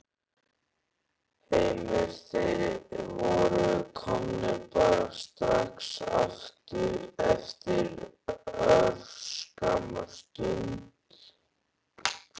Heimir: Þeir voru komnir bara strax eftir örskamma stund?